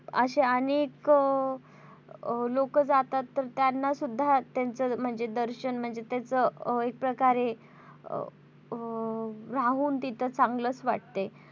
अशे अनेको लोक जातात तर त्यांना सुद्धा त्यांचं दर्शन म्हणजे त्याच एक प्रकारे अं राहून तिथं चांगलंच वाटते.